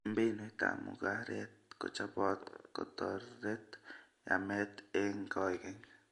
Mbinutab mugaret kochobot kotoret yamet eng koykeny